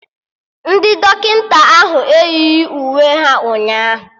Ndị dọkịta ahụ eyighi uwe ha ụnyaahụ